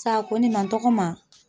Sa ko ne ma n tɔgɔma